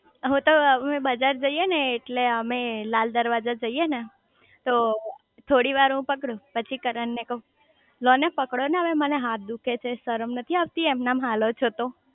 હું તો અમે બધા જઈએ ને એટલે અમે લાલ દરવાજા જઈએ ને તો થોડી વાર હું પકડું પછી કરણ ને કવ લો ને પકડો ને હવે મને હાથ દુખે છે શરમ નથી આવતી એમ નેમ હાલો છો તો